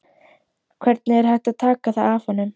Hvernig er hægt að taka það af honum?